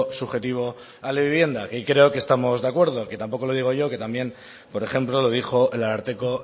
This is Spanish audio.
subjetivo a la vivienda y creo que estamos de acuerdo que tampoco lo digo yo que también por ejemplo lo dijo el ararteko